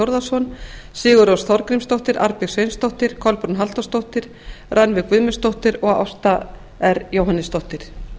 þórðarson sigurrós þorgrímsdóttir arnbjörg sveinsdóttir kolbrún halldórsdóttir rannveig guðmundsdóttir og ásta r jóhannesdóttir